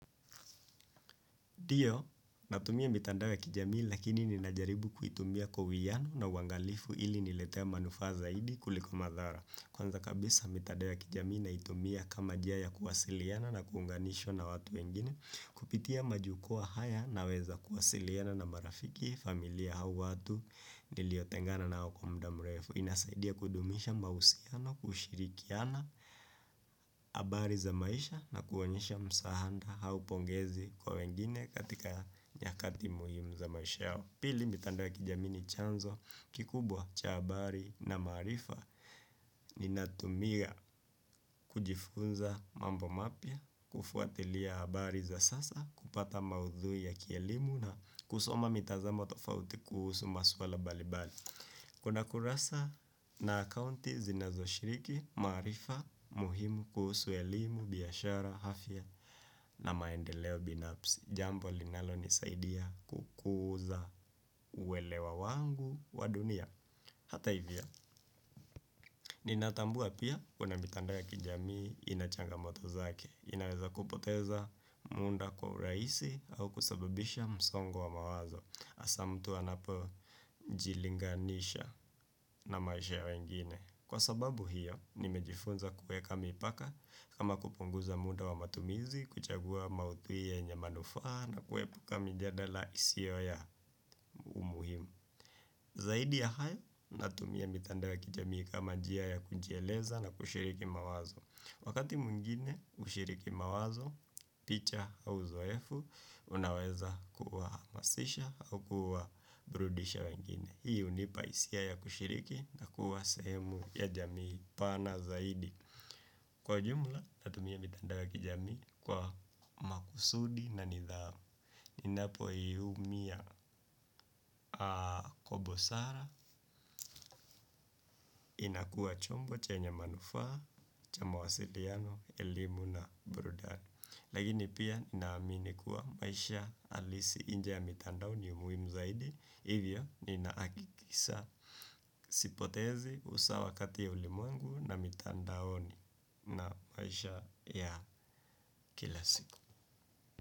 Ndio, natumia mitandao ya kijamii lakini ninajaribu kuitumia kwa uwiyano na uwangalifu ili nilete manufaa zaidi kuliko madhara. Kwanza kabisa mitandao kijamii naitumia kama njia ya kuwasiliana na kuunganishwa na watu wengine, kupitia majukuwaa haya naweza kuwasiliana na marafiki familia au watu niliotengana nao kwa mda mrefu. Inasaidia kudumisha mahusiano kushirikiana habari za maisha na kuonyesha msaanda au pongezi kwa wengine katika nyakati muhimu za maisha yao. Pili mitandao ya kijamini ni chanzo kikubwa cha habari na maarifa. Ninatumia kujifunza mambo mapya, kufuatilia habari za sasa, kupata maudhui ya kielimu na kusoma mitazamo tofauti kuhusu maswala mbalimbali. Kuna kurasa na akounti zinazo shiriki maarifa muhimu kuhusu elimu biashara afya na maendeleo binafsi. Jambo linalo nisaidia kukuza uwelewa wangu wa dunia. Hata hivyo, ninatambua pia kuna mitandao ya kijamii inachangamoto zake. Inaweza kupoteza muda kwa urahisi au kusababisha msongo wa mawazo. Hasa mtu anapo jilinganisha na maisha ya wengine. Kwa sababu hiyo, nimejifunza kueka mipaka kama kupunguza muda wa matumizi, kuchagua maudhui yenye manufaa na kuepuka mijadala isio ya muhimu. Zaidi ya hayo, natumia mitandao ya kijamii kama njia ya kujieleza na kushiriki mawazo. Wakati mwingine ushiriki mawazo, picha au zoefu, unaweza kuwahamasisha au kuwa burudisha wengine. Hii hunipa hisia ya kushiriki na kuwa sehemu ya jamii pana zaidi. Kwa jumla, natumia mitandao ya kijamii kwa makusudi na nidhamu. Ninapo hii umia kobosara inakua chombo chenye manufaa, cha mawasiliano, elimu na brudani. Lakini pia ninaamini kuwa maisha halisi nje ya mitandaoni ni muhimu zaidi. Hivyo ninahakikisha sipotezi usawakati ya ulimwengu na mitandaoni na maisha ya kila siku.